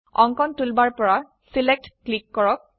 অঙ্কন টুলবাৰ পৰা select select click কৰক